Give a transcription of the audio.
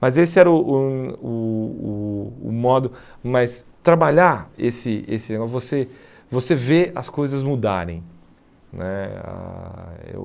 Mas esse era o o o o o modo, mas trabalhar esse esse negócio, você você vê as coisas mudarem né ah eu.